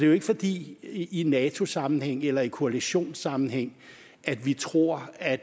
jo ikke fordi vi i nato sammenhæng eller koalitionssammenhæng tror at